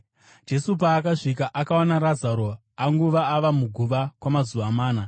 Jesu paakasvika akawana Razaro anguva ava muguva kwamazuva mana.